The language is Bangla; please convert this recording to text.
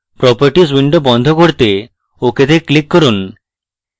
properties window বন্ধ করতে ok তে click করুন